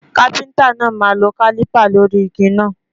Kápẹ́ńtà náà máa lọ kálípà lórí igi náà.